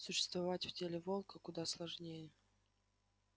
существовать в теле волка куда сложнее